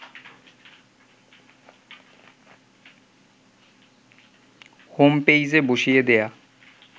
home পেইজে বসিয়ে দেয়া